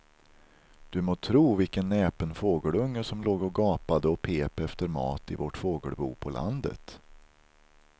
Du må tro vilken näpen fågelunge som låg och gapade och pep efter mat i vårt fågelbo på landet.